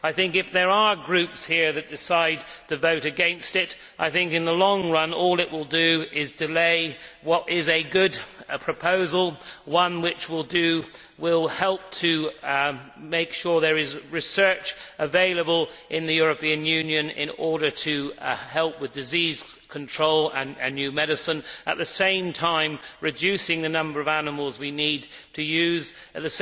If there are groups here that decide to vote against it, I think in the long run all it will do is delay what is a good proposal, one which will help to make sure there is research available in the European Union to help with disease control and new medicine while at the same time reducing the number of animals we need to use and